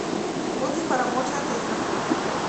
отзыв о работе отеля